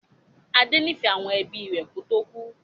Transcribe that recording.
Adé nifẹ àwọn ẹbí rẹ kò tó kú.